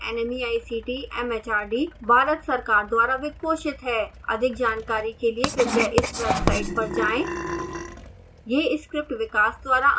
spoken tutorial project nmeict mhrd Bharat सरकार द्वारा वित्त पोषित है अधिक जानकारी के लिए कृपया इस वेबसाइट पर जाएं